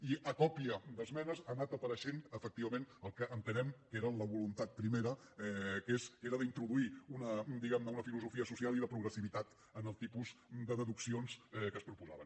i a còpia d’esmenes ha anat apareixent efectivament el que entenem que era la voluntat primera que era d’introduir diguem ne una filosofia social i de progressivitat en el tipus de deduccions que es proposaven